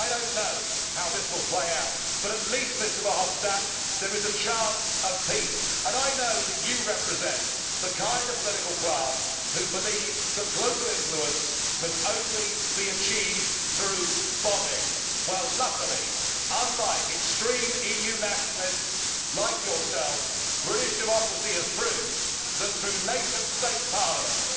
I do not know how this will play out but at least, Mr Verhofstadt, there is a chance of peace, and I know that you represent the kind of political class who believe that global influence can be achieved only through bombing. Well, luckily unlike extreme EU nationalists like yourself British democracy has proved that nation state parliaments